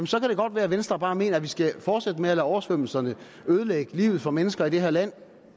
så kan det godt være at venstre bare mener at vi skal fortsætte med at lade oversvømmelserne ødelægge livet for mennesker i det her land